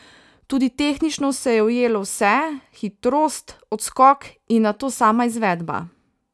Tudi tehnično se je ujelo vse, hitrost, odskok in nato sama izvedba.